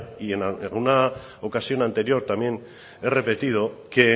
y en una ocasión anterior también he repetido que